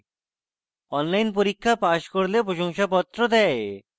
online পরীক্ষা pass করলে প্রশংসাপত্র দেয়